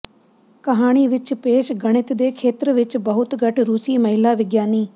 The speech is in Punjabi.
ਕਹਾਣੀ ਵਿੱਚ ਪੇਸ਼ ਗਣਿਤ ਦੇ ਖੇਤਰ ਵਿਚ ਬਹੁਤ ਘੱਟ ਰੂਸੀ ਮਹਿਲਾ ਵਿਗਿਆਨੀ